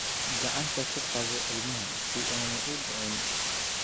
Gacanta ku qabo ilmaha si aanu u dhicin.